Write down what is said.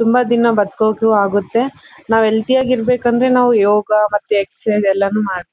ತುಂಬ ದಿನ ಬಡ್ಕೋಕು ಅಗುತ್ತೆ. ನಾವು ಹೆಲ್ದಿ ಆಗಿ ಇರಬೇಕಂದ್ರೆ ಯೋಗ ಮತ್ತೆ ಎಕ್ಸೆಸ್ಸಿಸ್ ಎಲ್ಲನೂ ಮಾಡ್ಬೇಕು.